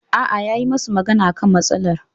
Aa, yayi musu magana akan matsalar